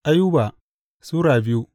Ayuba Sura biyu